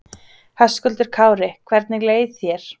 Höskuldur Kári: Hvernig leið þér?